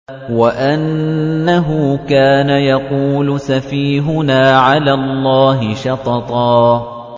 وَأَنَّهُ كَانَ يَقُولُ سَفِيهُنَا عَلَى اللَّهِ شَطَطًا